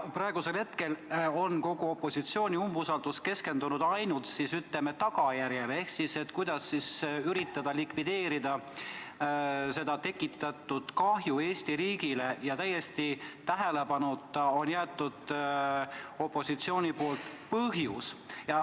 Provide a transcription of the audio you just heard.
Praegusel hetkel on kogu opositsiooni umbusaldus keskendunud ainult, ütleme, tagajärjele ehk sellele, kuidas likvideerida Eesti riigile tekitatud kahju, ja täiesti tähelepanuta on opositsioon jätnud põhjuse.